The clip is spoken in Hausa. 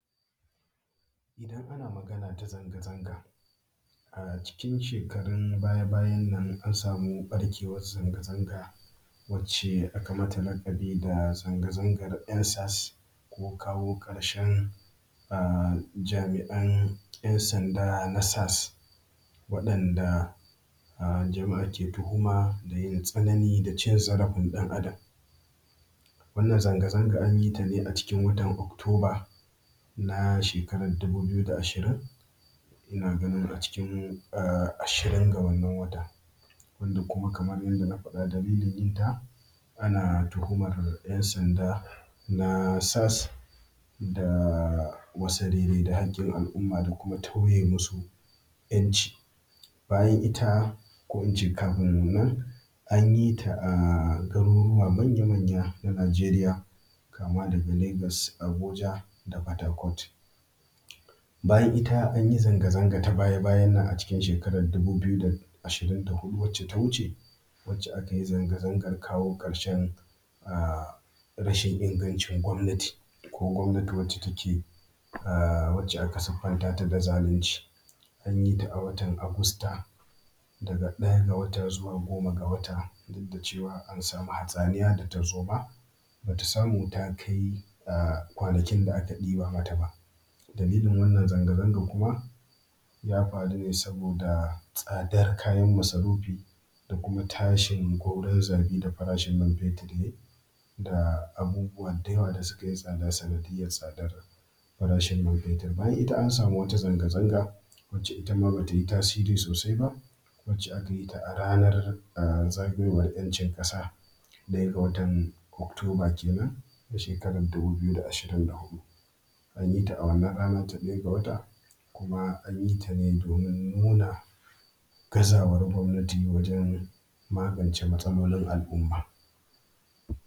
Idan ana Magana ta zanga zanga, a cikin shekarun baya bayan nan an samu ɓarkewan zanga zanga wacce aka mata laƙabi da zanga zangar end sars ko kawo ƙarshen jami’an ‘yan sanda na sars. waɗanda jama’a ke tuhuma da tsanani da cin zarafin ɗan Adam. Wannan zanga zanga an yi ta ne a cikin watan okutoba na shekarar dubu biyu da ashirin, ina ganin a cikin ashirin ga wannan wata, wanda kuma kamar yadda na faɗa, dalilin yinta, ana tuhumar ‘yan sanda na sars da wassarere da haƙƙin al’umma da kuma tauye musu ‘yanci. Bayan ita ko in ce kafin nan, an yi ta a garuruwa manya manya na Najeriya kama daga Lagas, Abuja, da fatakot. Bayan nan an yi zanga zanga ta baya bayan nan a cikin shekarar dubu biyu da ashirin da huɗu da ta wuce, wacce aka yi zanga zangar kawoƙarshen rashin ingancin gwabnati, ko gwamnatici take yi. Wacce aka siffanta ta da zalunci. An yi ta a watan Agusta daga ɗaya ga wata zuwa goma ga wata. Duk da cewa an samu hatsaniya, da tarzoma ba ta samu ta kai kwanakin da aka ɗiba mata ba. Dalilin wannan zanga zanga kuma, ya faru ne saboda tsadar kayan masarufi, da kuma tshin gauro zabi da farashin man fetur, ya yi da abubuwa da yawa da suka yi tsada sanadiyyar tsadar farashin man fetur. Bayan ita an samu wata zanga zanga wacce ita ma bata yi tasiri sosai ba. wacce aka yi ta a ranar zagayowan ‘yancin ƙasa ɗaya ga watan okutoba kenan ta shekarar dubu biyu da ashirin da huɗu. an yi ta a wannan rana ta ɗaya ga wata kuma an yi ta ne domin nuna gazawar gwamnati wajen magance matsalolin al’umma.